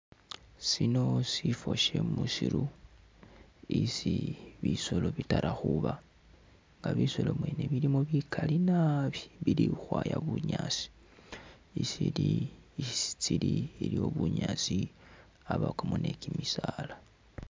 Sino sifo shemusiru isi bisoolo bitala khuba nga bisoolo bweni bilimo bikaali naabi, bili khukhwaya bunyaasi isili, isi tsili iliwo binyaasi abakamo ni'kimisaala